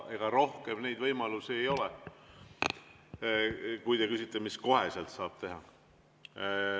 Ega rohkem võimalusi ei ole, kui te küsite, mida kohe saaks teha.